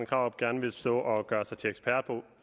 krarup gerne vil stå og gøre sig til ekspert på